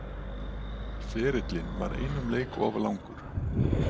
Ferillinn var einum leik of langur